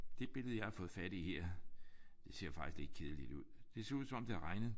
Ja det billede jeg har fået fat i her det ser jo faktisk lidt kedeligt ud. Det ser ud som om det har regnet